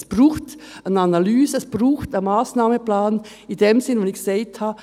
Es braucht eine Analyse, es braucht einen Massnahmenplan in dem Sinn, den ich genannt habe: